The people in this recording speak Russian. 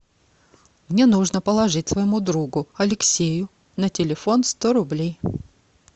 мне нужно положить своему другу алексею на телефон сто рублей